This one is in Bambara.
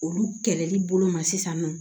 Olu kɛlɛli bolo ma sisan nɔ